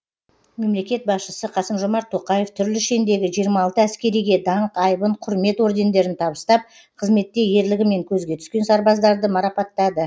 мемлекет басшысы қасым жомарт тоқаев түрлі шендегі жиырма алты әскериге даңқ айбын құрмет ордендерін табыстап қызметте ерлігімен көзге түскен сарбаздарды марапаттады